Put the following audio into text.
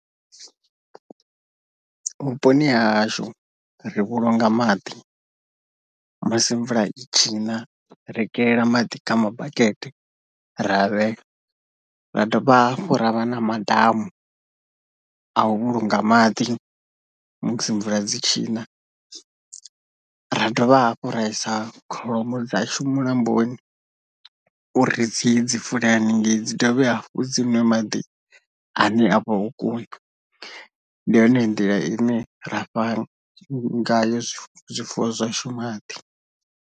Vhuponi hashu ri vhulunga maḓi, musi mvula dzi tshi na ri kelela maḓi kha mabakete ra vhea, ra dovha hafhu ravha na madamu a u vhulunga maḓi musi mvula dzi tshi na, ra dovha hafhu ra isa kholomo dzashu mulamboni uri dziye dzi fulr haningei dzi dovhe hafhu dzi ṅwe maḓi ane avha o kuna, ndi yone nḓila ine ra fhano nga yo zwifuwo zwashu maḓi.